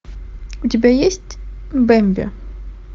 у тебя есть бэмби